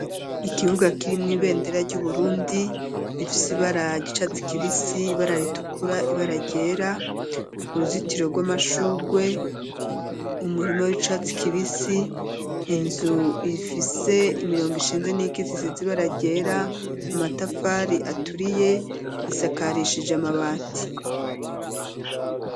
Ikibuga kirimwo ibendera ryu Burundi rifise abara ryicatsi kibisi ibara ritukura ibara ryera uruzitiro rw'amashugwe umurima w'icatsi kibisi inzu ifise imirongo ishinzwe n'ikitse isize ibara ryera amatafari aturiye isakarishije amabati.